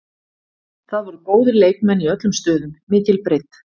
Það voru góðir leikmenn í öllum stöðum, mikil breidd.